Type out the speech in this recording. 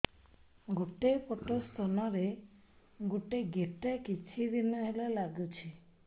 ଗୋଟେ ପଟ ସ୍ତନ ରେ ଗୋଟେ ଗେଟା କିଛି ଦିନ ହେଲା ଲାଗୁଛି